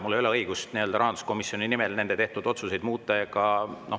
Mul ei ole õigust rahanduskomisjoni tehtud otsuseid muuta.